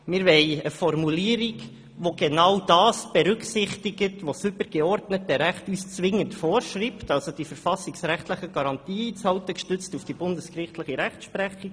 Wir wollen eine Formulierung, welche genau das berücksichtigt, was uns das übergeordnete Recht zwingend vorschreibt, das heisst die Einhaltung der verfassungsrechtlichen Garantien, gestützt auf die bundesgerichtliche Rechtsprechung.